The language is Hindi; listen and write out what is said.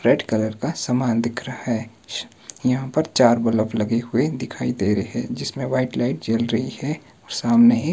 रेड कलर का समान दिख रहा है श यहां पर चार बलब लगे हुए दिखाई दे रहे जिसमें व्हाइट लाइट जल रही है और सामने ही--